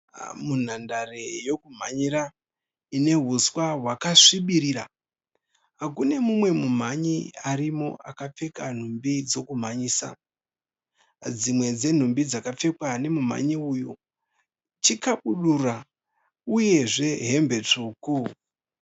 Munhandare yekumhanyira ine huswa hwakasvibirira. Kune mumwe mumhanyi arimo akapfeka nhumbi dzekumhanyisa. Dzimwe dzenhumbi dzakapfekwa nemumhanyi uyu chikabudura uye zve hembe tsvuku.